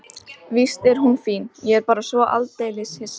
Víst er hún fín, ég er bara svo aldeilis hissa.